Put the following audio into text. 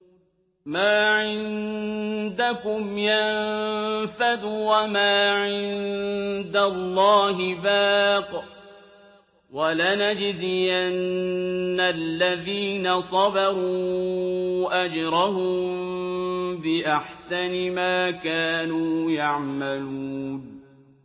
مَا عِندَكُمْ يَنفَدُ ۖ وَمَا عِندَ اللَّهِ بَاقٍ ۗ وَلَنَجْزِيَنَّ الَّذِينَ صَبَرُوا أَجْرَهُم بِأَحْسَنِ مَا كَانُوا يَعْمَلُونَ